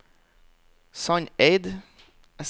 Sandeid